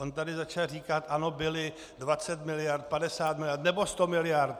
On tady začal říkat ano byly 20 miliard, 50 miliard nebo 100 miliard.